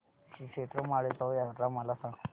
श्रीक्षेत्र माळेगाव यात्रा मला सांग